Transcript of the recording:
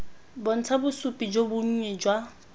bontsha bosupi jo bonnye jwa